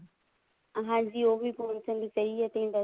ਹਾਂਜੀ ਉਹ ਵੀ ਪਹੁੰਚਣ ਦੀ